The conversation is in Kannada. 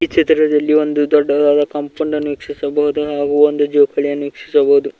ಚಿತ್ರದಲ್ಲಿ ಒಂದು ದೊಡ್ಡದಾದ ಕಾಂಪೌಂಡ ಅನ್ನು ವೀಕ್ಷಿಸಬಹುದು ಮತ್ತು ಒಂದು ಜೌಕಲೀಯನ್ನು ವೀಕ್ಷಿಸಬಹುದು.